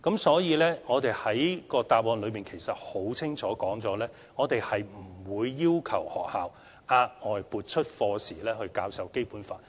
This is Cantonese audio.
所以，我的主體答覆很清楚說明，我們不會要求學校額外撥出課時教授《基本法》。